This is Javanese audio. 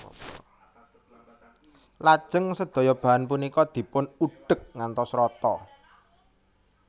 Lajeng sedaya bahan punika dipun udhek ngantos rata